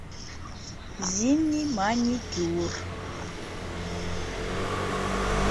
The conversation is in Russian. зимний маникюр